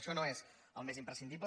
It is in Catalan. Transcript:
això no és el més imprescindible